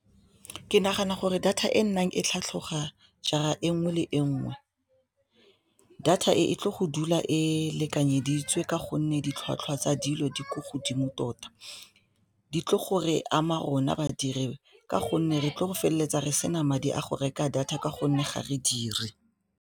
Ke nagana gore data e nnang e tlhatlhoga jaar e nngwe le e nngwe data e tle go dula ko lekanyeditswe ka gonne ditlhwatlhwa tsa dilo di ko godimo tota di tlo go re ama rona badiri ka gonne re tlo go feleletsa re sena madi a go reka data ka gonne ga re dire.